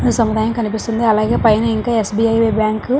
సముదాయం కనిపిస్తుంది అలాగే పైన ఇంకా ఎస్. బి. ఐ. బాంకు .